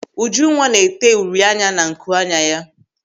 Ujunwa na-ete uri anya na nku anya ya.